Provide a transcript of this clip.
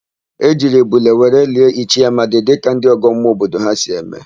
E jiri ebule were lie Ichie Amadi dịka ndị ọgọmmụọ obodo ha si eme.